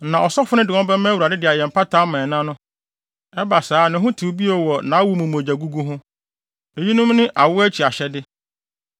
Na ɔsɔfo no de wɔn bɛma Awurade de ayɛ mpata ama ɛna no; ɛba saa a, ne ho tew bio wɔ nʼawo mu mogyagugu ho. “ ‘Eyinom ne awo akyi ahyɛde.